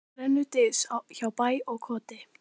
Brennur dys hjá bæ og koti.